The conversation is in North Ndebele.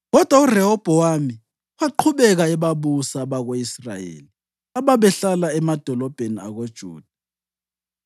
Kodwa uRehobhowami waqhubeka ebabusa abako-Israyeli ababehlala emadolobheni akoJuda.